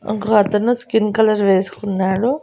ఒక అతను skin colour వేసుకున్నాడు.